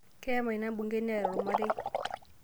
Keyama ina bungei neeta olmarei